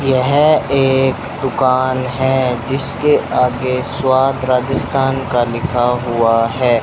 यह एक दुकान हैं जिसके आगे स्वाद राजस्थान का लिखा हुआ हैं।